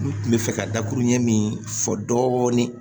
N kun bɛ fɛ ka dakuru ɲɛ min fɔ dɔɔnin